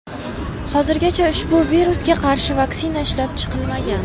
Hozirgacha ushbu virusga qarshi vaksina ishlab chiqilmagan.